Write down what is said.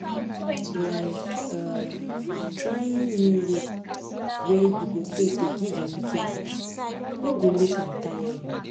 like um trying new way wey you take dey give your pikin breast no go make am tire you